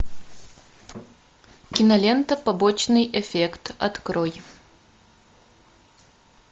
кинолента побочный эффект открой